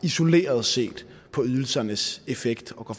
isoleret set på ydelsernes effekt og går